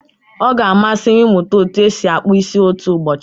Ọ ga-amasị m ịmụta otú e si akpụ isi otu ụbọchị.